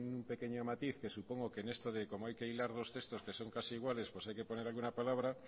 un pequeño matiz que supongo que en esto de como hay que hilar dos textos que son casi iguales pues hay que poner aquí una palabra